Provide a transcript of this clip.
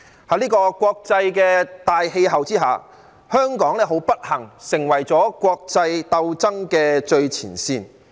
在這個國際大氣候之下，香港很不幸成為了國際鬥爭的最前線。